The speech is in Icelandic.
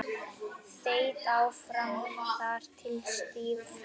Þeytt áfram þar til stíft.